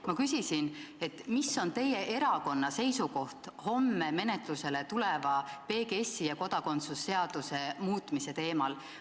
Ma küsisin, et milline on teie erakonna seisukoht homme menetlusele tuleva PGS-i ja kodakondsuse seaduse muutmise teemal.